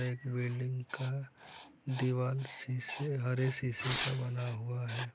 एक बिल्डिंग का दीवाल शीशे हरे शीशे का बना हुआ है।